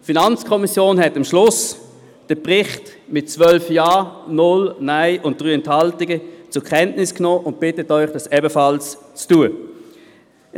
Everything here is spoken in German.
Die FiKo hat den Bericht am Schluss mit 12 Ja-, 0 Nein-Stimmen und 3 Enthaltungen zur Kenntnis genommen und bittet Sie, es ihr gleich zu tun.